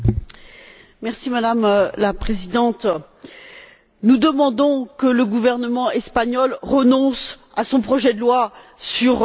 Madame la Présidente, nous demandons que le gouvernement espagnol renonce à son projet de loi sur l'avortement.